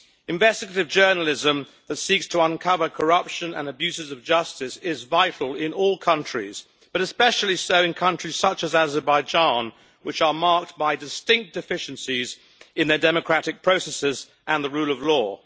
Investigative journalism that seeks to uncover corruption and abuses of justice is vital in all countries, but especially so in countries such as Azerbaijan, which are marked by distinct deficiencies in the democratic processes and the rule of law.